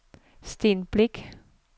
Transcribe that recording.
Sten Brix